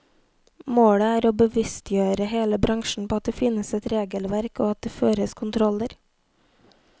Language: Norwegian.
Målet er å bevisstgjøre hele bransjen på at det finnes et regelverk og at det føres kontroller.